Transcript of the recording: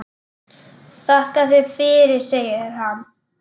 Þakka þér fyrir, segir hann.